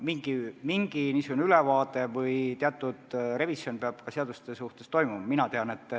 Mingi niisugune seaduste ülevaatamine või teatud revisjon peab toimuma.